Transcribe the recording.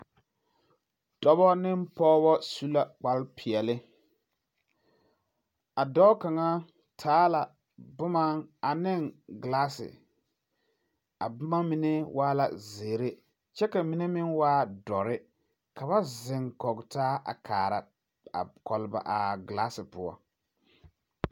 Dɔbɔ ne pɔgebɔ su la kparrepeɛli ,a dɔɔ kaŋa taa la boma ane gilaasi ,a boma mine waala zèère kyɛ ka mine meŋ waa dɔri ka ba ziŋ kɔge taa a kaara a gilaasi poɔ.